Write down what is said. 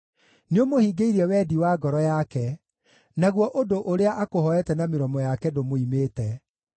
Nĩũmũhingĩirie wendi wa ngoro yake, naguo ũndũ ũrĩa akũhooete na mĩromo yake ndũmũimĩte.